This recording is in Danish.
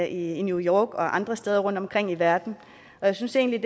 i new york og andre steder rundtomkring i verden jeg synes egentlig